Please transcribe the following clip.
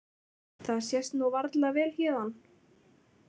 Það sést varla vel héðan.